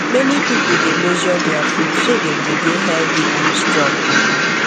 many people dey measure their food so dem go dey healthy and strong